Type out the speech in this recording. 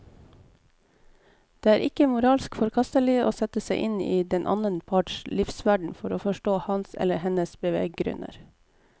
Det er ikke moralsk forkastelig å sette seg inn i den annen parts livsverden for å forstå hans eller hennes beveggrunner.